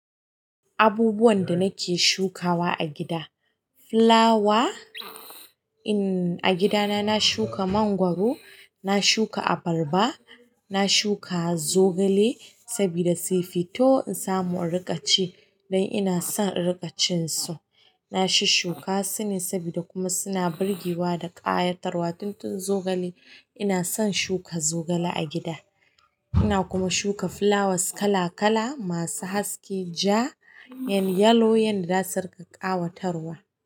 Abubuwan da nake shukawa a gida flower in a gidana na shuka mangwaro, na shuka abarba, na shuka zogale sabida su fito in samu riƙaci dan ina son riƙacin su. Na shi shuka sune sabida kuma suna burgewa da ƙayatarwa. Tun tun zogale ina son shuka zogale a gida. Ina kuma shuka fulawas kala kala masu haske, ja, yalo yalo, yan da zasu riƙa ƙayatarwa.